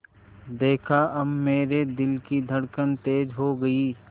देखा अब मेरे दिल की धड़कन तेज़ हो गई